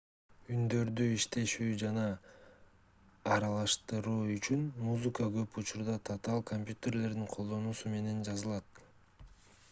үндөрдү иштетүү жана аралаштыруу үчүн музыка көп учурда татаал компьютерлердин колдонулуусу менен жазылат